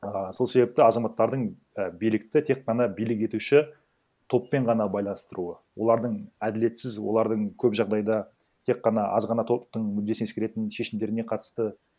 а сол себепті азаматтардың і билікті тек қана билік етуші топпен ғана байланыстыруы олардың әділетсіз олардың көп жағдайда тек қана аз ғана топтың мүддесін ескеретін шешімдеріне қатысты